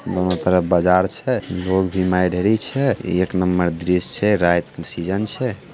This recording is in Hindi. बहुत बड़ा बाजर छै एक में देरी छै एक नम्बर दृश्य छै रात के सीजन छै।